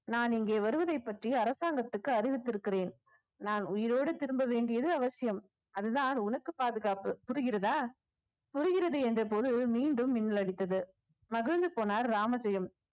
நான் இங்கே வருவதை பற்றி அரசாங்கத்திற்கு அறிவித்திருக்கிறேன் நான் உயிரோடு திரும்ப வேண்டியது அவசியம் அதுதான் உனக்கு பாதுகாப்பு புரிகிறதா புரிகிறது என்ற பொருள் மீண்டும் மின்னலடித்தது மகிழ்ந்து போனார் ராமஜெயம்